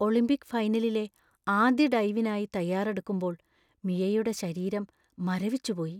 Olympic ഫൈനലിലെ ആദ്യ ഡൈവിനായി തയ്യാറെടുക്കുമ്പോൾ മിയയുടെ ശരീരം മരവിച്ചുപോയി.